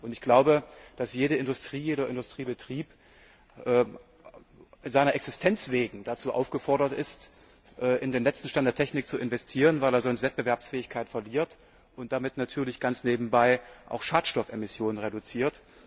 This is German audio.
Ich glaube, dass jede Industrie, jeder Industriebetrieb seiner Existenz wegen dazu aufgefordert ist, in den letzten Stand der Technik zu investieren, weil er sonst Wettbewerbsfähigkeit verliert, und damit natürlich ganz nebenbei auch Schadstoffemissionen zu reduzieren.